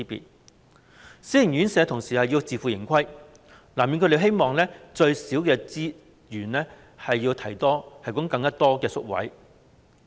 同時，私營院舍要自負盈虧，所以，難免會希望用最少的資源提供最多的宿位。